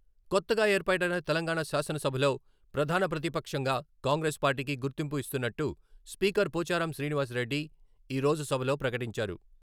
కొత్తగా ఏర్పాటైన తెలంగాణ శాసనసభలో ప్రధాన ప్రతిపక్షంగా కాంగ్రెస్ పార్టీకి గుర్తింపు ఇస్తున్నట్టు స్పీకర్ పోచారం శ్రీనివాస్ రెడ్డి ఈ రోజు సభలో ప్రకటించారు.